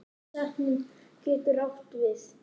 Setning getur átt við